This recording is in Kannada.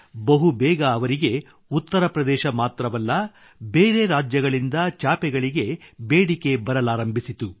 ಬಹುಬೇಗ ಅವರಿಗೆ ಉತ್ತರ ಪ್ರದೇಶ ಮಾತ್ರವಲ್ಲ ಬೇರೆ ರಾಜ್ಯಗಳಿಂದ ಚಾಪೆಗಳಿಗೆ ಬೇಡಿಕೆ ಬರಲಾರಂಭಿಸಿತು